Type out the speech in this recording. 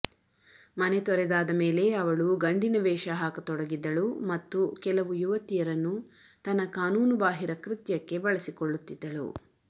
ಮನೆತೊರೆದಾದ ಮೇಲೆ ಅವಳುಗಂಡಿನ ವೇಷಹಾಕತೊಡಗಿದ್ದಳು ಮತ್ತು ಕೆಲವು ಯುವತಿಯರನ್ನು ತನ್ನ ಕಾನೂನು ಬಾಹಿರ ಕೃತ್ಯಕ್ಕೆ ಬಳಸಿಕೊಳ್ಳುತ್ತಿದ್ದಳು